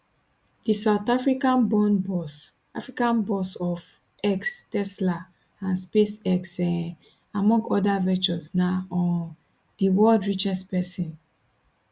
di south africaborn boss africaborn boss of x tesla and spacex um among oda ventures na um di world richest pesin